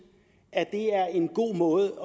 at det er en god måde